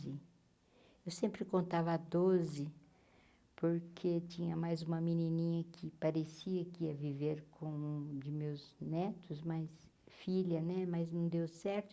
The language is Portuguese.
Eu sempre contava doze, porque tinha mais uma menininha que parecia que ia viver com um de meus netos, mas filha né, mas não deu certo.